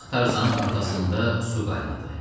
Bu vaxt Tarzanın arxasında su qaynadı.